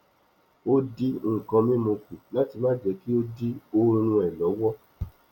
o dín nkàn mímu kù láti má jẹ kí ó dí oorún ẹ lọwọ